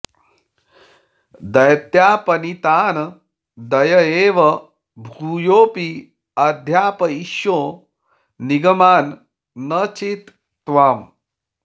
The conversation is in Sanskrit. दैत्यापनीतान् दययैव भूयोऽपि अध्यापयिष्यो निगमान् न चेत् त्वाम्